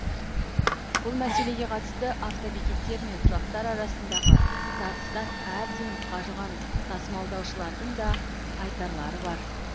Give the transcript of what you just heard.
бұл мәселеге қатысты автобекеттер мен тұрақтар арасындағы тартыстан әбден қажыған тасымалдаушылардың да айтарлары бар